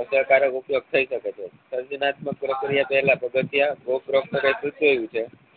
પત્રકારો ઉપયોગ થઇ શે છે દર્દનાત્મ્ક પ્રક્રિયા પહેલા પગથીયા થયું છે